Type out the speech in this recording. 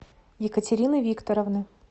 екатерины викторовны